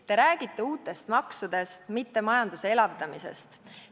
Te räägite uutest maksudest, mitte majanduse elavdamisest.